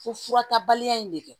Fo fura ta baliya in de kɛ